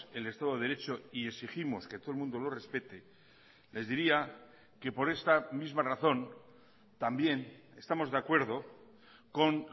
el estado de derecho y exigimos que todo el mundo lo respete les diría que por esta misma razón también estamos de acuerdo con